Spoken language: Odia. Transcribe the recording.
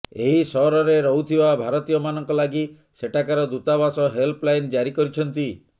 ଏହି ସହରରେ ରହୁଥିବା ଭାରତୀୟମାନଙ୍କ ଲାଗି ସେଠାକାର ଦୂତାବାସ ହେଲ୍ପଲାଇନ ଜାରି କରିଛନ୍ତି